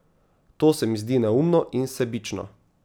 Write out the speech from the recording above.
To se mi zdi neumno in sebično.